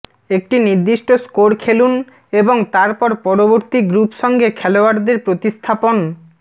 একটি নির্দিষ্ট স্কোর খেলুন এবং তারপর পরবর্তী গ্রুপ সঙ্গে খেলোয়াড়দের প্রতিস্থাপন